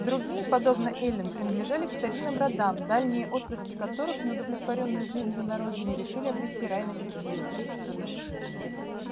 другие подобно эллин принадлежали к старинным родам дальние отпрыски которых не удовлетворённые жизнью на родине решили обрести рай на чужбине